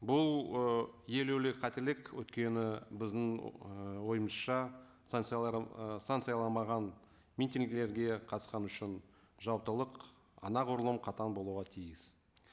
бұл ы елеулі қателік өйткені біздің ы ойымызша санкциялар ы митингілерге қатысқаны үшін жауаптылық анағұрлым қатаң болуға тиіс